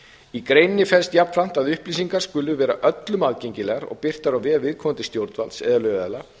í greininni felst jafnframt að upplýsingarnar skuli vera öllum aðgengilegar og birtar á vef viðkomandi stjórnvalds eða lögaðila